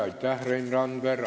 Aitäh, Rein Randver!